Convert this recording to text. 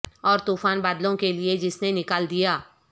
اور طوفان بادلوں کے لئے جس نے نکال دیا